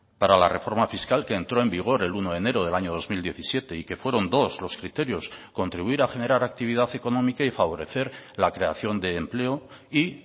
para la reforma fiscal que entró en vigor el uno de enero del año dos mil diecisiete y que fueron dos los criterios contribuir a generar actividad económica y favorecer la creación de empleo y